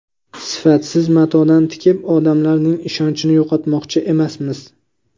Sifatsiz matodan tikib, odamlarning ishonchini yo‘qotmoqchi emasmiz.